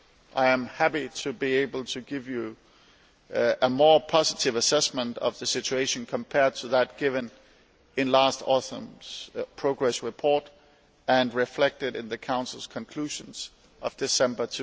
I am happy to be able to give you a more positive assessment of the situation than that given in last autumn's progress report and reflected in the Council's conclusions of December